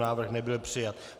Návrh nebyl přijat.